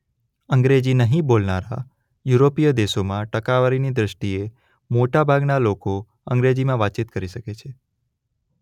અંગ્રેજી નહીં બોલનારા યુરોપીય દેશોમાં ટકાવારીની દૃષ્ટિએ મોટાભાગના લોકો અંગ્રેજીમાં વાતચીત કરી શકે છે.